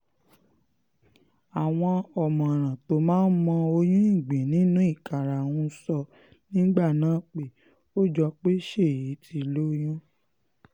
àwọn ọ̀mọ̀ràn tó máa ń mọ oyún ìgbín nínú ìkarahun sọ nígbà náà pé ó jọ pé ṣéyí ti lóyún